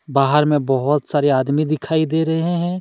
बाहर में बहुत सारे आदमी दिखाई दे रहे हैं।